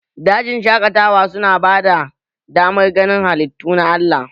Dajin shaƙatawa su na bada damar ganin halittu na Allah